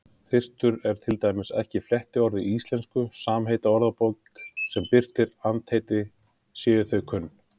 Þyrstur er til dæmis ekki flettiorð í Íslenskri samheitaorðabók sem birtir andheiti séu þau kunn.